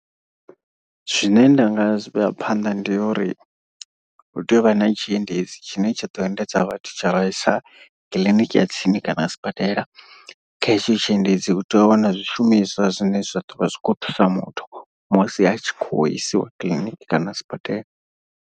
Zwine ndanga zwi vhea phanḓa ndi uri hu tea u vha na tshiendedzi tshine tsha ḓo endedza vhathu tsha vhaisa kiḽiniki ya tsini kana sibadela. Kha hetsho tshiendedzi hu tea u vha na zwishumiswa zwine zwa ḓo vha zwi khou thusa muthu musi a tshi khou isiwa kiḽiniki kana sibadela.